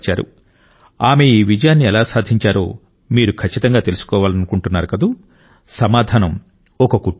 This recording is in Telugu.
ఆమె ఈ విజయాన్ని ఎలా సాధించారో మీరు ఖచ్చితంగా తెలుసుకోవాలనుకుంటున్నారు సమాధానం ఒక కుట్టు యంత్రం